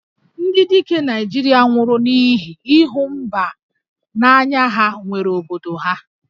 Ndị dike Naịjirịa nwụrụ n'ihi ịhụ mba n'anya ha nwere obodo ha